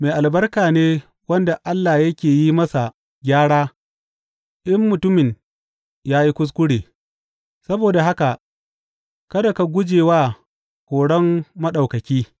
Mai albarka ne wanda Allah yake yi masa gyara in mutumin ya yi kuskure; saboda haka kada ka guje wa horon Maɗaukaki.